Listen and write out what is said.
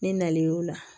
Ni nalen y'u la